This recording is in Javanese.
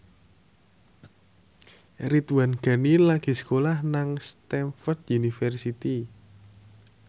Ridwan Ghani lagi sekolah nang Stamford University